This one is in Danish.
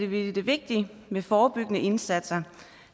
vi det vigtigt med forebyggende indsatser